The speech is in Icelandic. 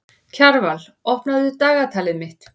Kjarval, opnaðu dagatalið mitt.